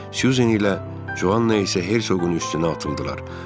Suzan ilə Covanna isə Herseqin üstünə atıldılar.